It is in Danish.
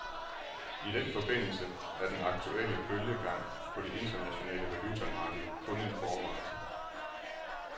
I den forbindelse er den aktuelle bølgegang på det internationale valutamarked kun en forvarsel.